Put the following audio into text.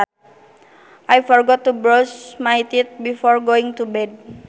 I forgot to brush my teeth before going to bed